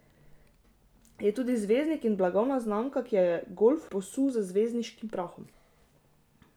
Je tudi zvezdnik in blagovna znamka, ki je golf posul z zvezdniškim prahom.